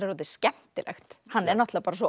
þetta er skemmtilegt hann er náttúrulega bara svo